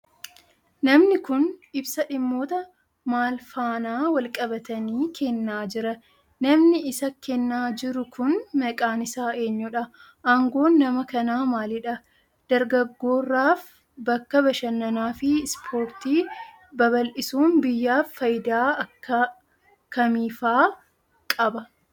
Namni kun, ibsa dhimmoota maal faana walqabatanii kennaa jira? Namni isa kennaa jiru kun, maqaan isaa eenyudha? Aangoon nama kanaa maalidha? Dargaggooraaf bakka bashannanaa fi ispoortii babal'isuun biyyaaf faayidaa akka kamiifaa qaba?